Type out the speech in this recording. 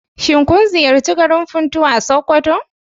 Shin kun ziyarci garin Funtuwa a Sokoto?